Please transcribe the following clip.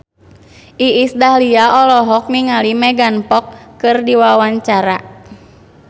Iis Dahlia olohok ningali Megan Fox keur diwawancara